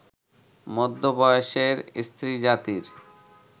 মধ্যবয়সের স্ত্রীজাতির